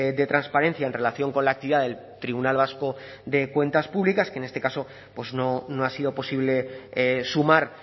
de transparencia en relación con la actividad del tribunal vasco de cuentas públicas que en este caso pues no ha sido posible sumar